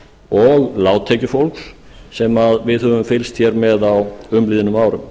og lágtekjufólks sem við höfum fylgst hér með á umliðnum árum